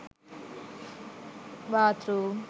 bath room